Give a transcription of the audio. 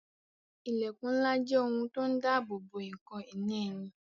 Ilẹkun ńlá jẹ́ ohun tó ń dabobo ǹkan ìní ẹni